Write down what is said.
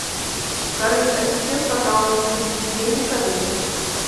салют ассистент пожалуйста переведи деньги коллеге